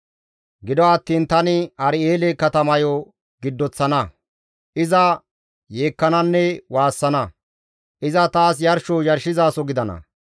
Gido attiin tani Ar7eele katamayo giddoththana; iza yeekkananne waassana; iza taas yarsho yarshizaso gidana.